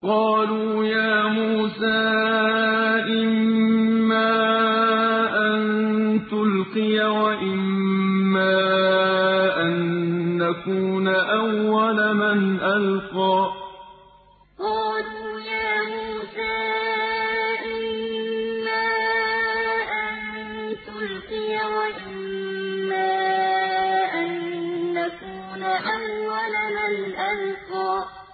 قَالُوا يَا مُوسَىٰ إِمَّا أَن تُلْقِيَ وَإِمَّا أَن نَّكُونَ أَوَّلَ مَنْ أَلْقَىٰ قَالُوا يَا مُوسَىٰ إِمَّا أَن تُلْقِيَ وَإِمَّا أَن نَّكُونَ أَوَّلَ مَنْ أَلْقَىٰ